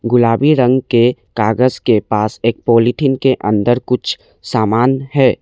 गुलाबी रंग के कागज के पास एक पॉलीथीन के अंदर कुछ समान है।